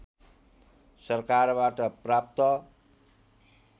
सरकारबाट प्राप्त